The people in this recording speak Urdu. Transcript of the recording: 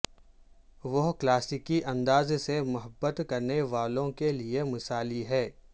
وہ کلاسیکی انداز سے محبت کرنے والوں کے لئے مثالی ہیں